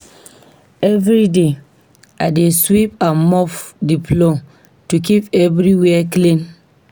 Every day, I dey sweep and mop the floor to keep everywhere clean.